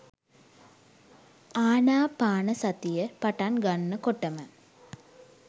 ආනාපානසතිය පටන් ගන්න කොටම